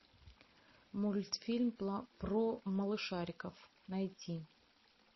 мультфильм про малышариков найти